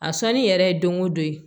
A sɔnni yɛrɛ ye don o don ye